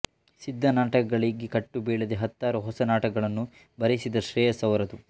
ಸಿದ್ಧ ನಾಟಕಗಳಿಗೆ ಕಟ್ಟುಬೀಳದೆ ಹತ್ತಾರು ಹೊಸ ನಾಟಕಗಳನ್ನು ಬರೆಯಿಸಿದ ಶ್ರೇಯಸ್ಸು ಅವರದು